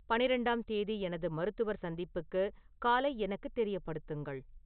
பன்னிரண்டாம் தேதி எனது மருத்துவர் சந்திப்புக்கு காலை எனக்கு தெரியப்படுத்துங்கள்